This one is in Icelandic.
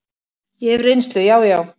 Ég hef reynslu, já, já.